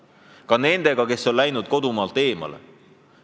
Me peame arvestama ka nendega, kes on kodumaalt eemale läinud.